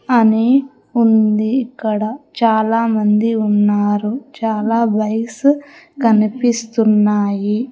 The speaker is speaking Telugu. అని ఉంది ఇక్కడ చాలామంది ఉన్నారు చాలా బైక్స్ కనిపిస్తున్నాయి.